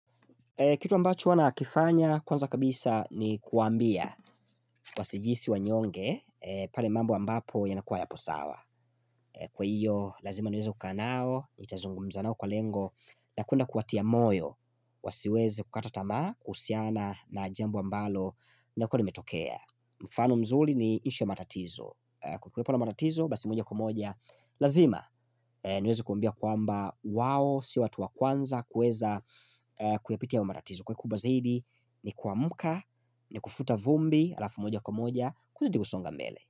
Kitu ambacho huwa nakifanya kwanza kabisa ni kuwaambia Wasijihisi wanyonge pale mambo ambapo yanakuwa yapo sawa Kwa hiyo lazima niweze kukaa nao nitazungumza nao kwa lengo na kuenda kuwatia moyo Wasiweze kukata tamaa kuhusiana na jambo ambalo linakua limetokea mfano mzuri ni ishu ya matatizo Kwa kuwepo na matatizo basi mwenye kumoja Lazima niweze kuwaambia kwamba wao sio watu wa kwanza kuweza kuyapitia hayo matatizo Kwa kuba zaidi ni kuamka ni kufuta vumbi alafu moja kwa moja Kuzidi kusonga mbele.